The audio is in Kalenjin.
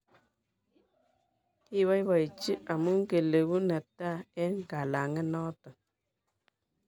Kiboiboichi amu kilegu ne tai eng' kalang'et noto